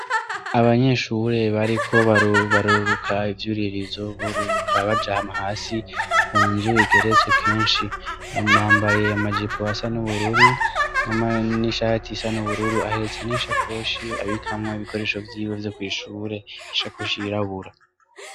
Abanyeshure bariko baruruka ivyuririzo bururuka baja hasi ku nzu igeretse kenshi. Bambaye amajipo asa n'ubururu n'ishati isa n'ubururu. Ahetse n'ishakoshi abikamwo ibikoresho vyiwe vyo kw'ishure ; ishakoshi yirabura.